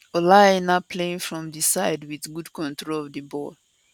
ola aina playing from di side wit good control of di ball